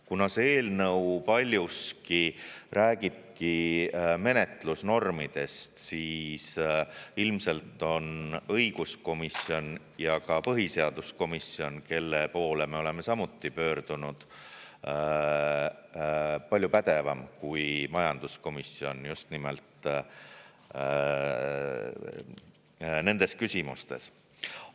Kuna see eelnõu paljuski räägibki menetlusnormidest, siis ilmselt on õiguskomisjon ja ka põhiseaduskomisjon, kelle poole me oleme samuti pöördunud, palju pädevam kui majanduskomisjon just nimelt nendes küsimustes.